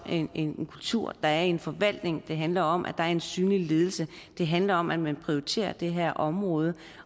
en kultur der er i en forvaltning det handler om at der er en synlig ledelse det handler om at man prioriterer det her område